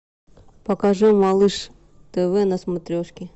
покажи малыш тв на смотрешке